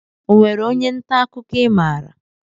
Onwere ónyé nta akụkọ i maara?